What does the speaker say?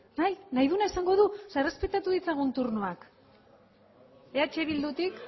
bai nahi duena esango du errespeta ditzagun turnoak eh bildutik